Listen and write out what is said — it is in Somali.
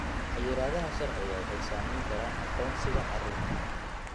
Xayiraadaha sharciga waxay saameyn karaan aqoonsiga carruurta.